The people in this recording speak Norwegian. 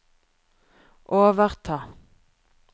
overta